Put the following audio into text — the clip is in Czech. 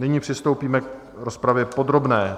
Nyní přistoupíme k rozpravě podrobné.